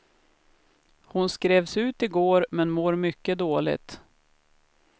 Hon skrevs ut i går, men mår mycket dåligt.